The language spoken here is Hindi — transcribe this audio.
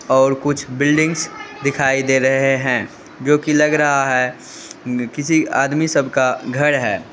और कुछ बिल्डिंग्स दिखाई दे रहे हैं जो की लग रहा है किसी आदमी सबका घर है।